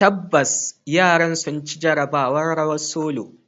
Tabbas, yaran sun ci jarabawar "rawar solo".